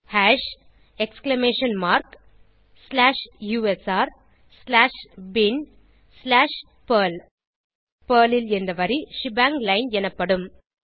hash exclamation mark slash USR slash bin slash perl perl ல் இந்த வரி shebang line எனப்படும்